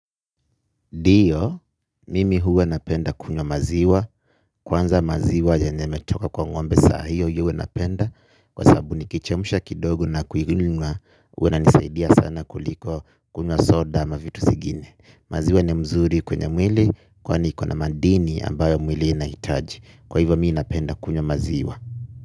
Ndio, mimi huwa napenda kunywa maziwa. Kwanza maziwa yenye imetoka kwa ngombe saa hiyo huwa napenda. Kwa sababu nikichemsha kidogo na kuinywa huwa inanisaidia sana kuliko kunywa soda ama vitu zingine. Maziwa ni mzuri kwenye mwili. Kwani ikona madini ambayo mwili inahitaji. Kwa hivyo mii napenda kunywa maziwa.